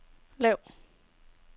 lav